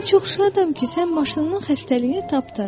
Mən çox şadam ki, sən maşınından xəstəliyini tapdın.